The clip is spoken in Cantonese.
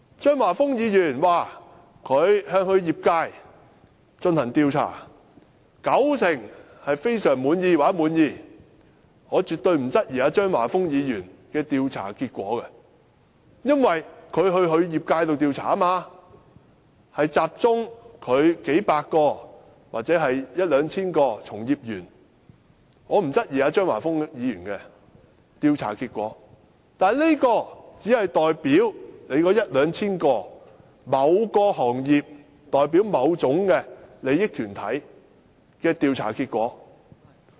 張華峰議員說，他向業界進行調查，九成受訪者表示非常滿意或滿意，我絕對不會質疑張華峰議員的調查結果，因為他是向其業界進行調查，集中了數百或一兩千名從業員進行調查，所以我不質疑張華峰議員的調查結果，但這只是代表一兩千名從業員或某個行業，甚或某種利益團體的調查結果。